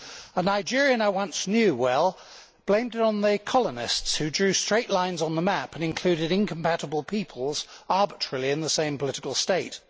A Nigerian I once knew well blamed it on the colonialists, who drew straight lines on the map and included incompatible peoples arbitrarily in the same political state.